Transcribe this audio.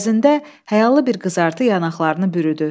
Əvəzində həyalı bir qızartı yanaqlarını bürüdü.